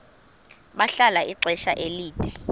bahlala ixesha elide